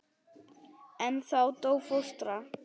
En þá dó fóstra.